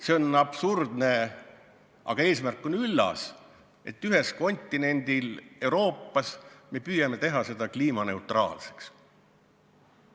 See mõte on absurdne, kuigi eesmärk ise on üllas, et ühel kontinendil, Euroopas, me püüame saavutada kliimaneutraalsust.